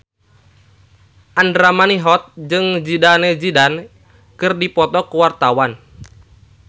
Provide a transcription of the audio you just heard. Andra Manihot jeung Zidane Zidane keur dipoto ku wartawan